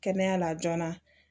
Kɛnɛya la joona